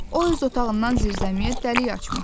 O öz otağından zirzəmiyə dəlik açmışdı.